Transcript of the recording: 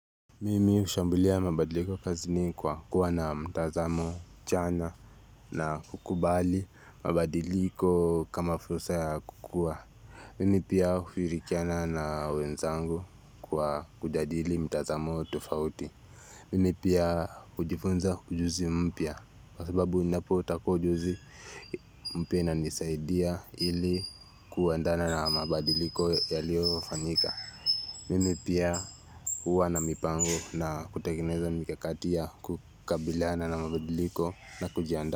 Mimi hushambulia mabadiliko kazini kwa kuwa na mtazamo chanya na kukubali mabadiliko kama fursa ya kukua. Mimi pia huirikiana na wenzangu kwa kujadili mtazamo tofauti. Mimi pia hujifunza ujuzi mpia, kwa sababu ninapo tako ujuzi mpia inanisaidia ili kueandana na mabadiliko yaliyofanyika. Mimi pia huwa na mipango na kutengeneza mikakati ya kukabilaana na mabadiliko na kujiandaa.